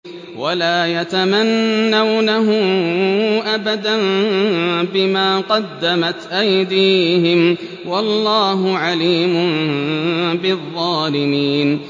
وَلَا يَتَمَنَّوْنَهُ أَبَدًا بِمَا قَدَّمَتْ أَيْدِيهِمْ ۚ وَاللَّهُ عَلِيمٌ بِالظَّالِمِينَ